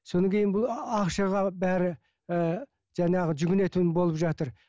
содан кейін бұл ақшаға бәрі ііі жаңағы жүгінетін болып жатыр